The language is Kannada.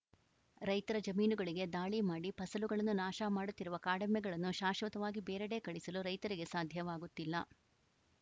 ರೈತರ ಜಮೀನುಗಳಿಗೆ ದಾಳಿ ಮಾಡಿ ಫಸಲುಗಳನ್ನು ನಾಶ ಮಾಡುತ್ತಿರುವ ಕಾಡೆಮ್ಮೆಗಳನ್ನು ಶಾಶ್ವತವಾಗಿ ಬೇರೆಡೆ ಕಳಿಸಲು ರೈತರಿಗೆ ಸಾಧ್ಯವಾಗುತ್ತಿಲ್ಲ